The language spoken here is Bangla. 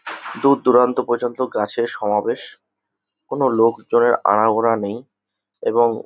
দূরদূরান্ত পর্যন্ত গাছের সমাবেশ কোনো লোকজনের আনাগোনা নেই এবং--